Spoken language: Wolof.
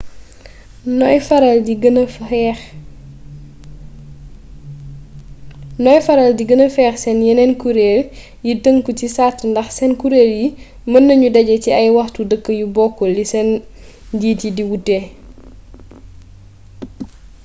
noy faral di gëna fex sen yenen kureel yi tënku ci sart ndax seen kureel yi mën nañoo dajé ci ay waxtu dëkk yu bokul li seen njiit yi di wuute